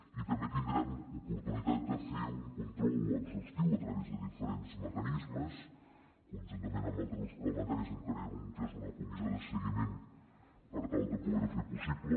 i també tindrem oportunitat de fer un control exhaustiu a través de diferents mecanismes conjuntament amb altres grups parlamentaris en crearem un que és una comissió de seguiment per tal de poderho fer possible